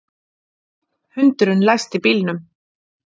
Hundurinn læsti bílnum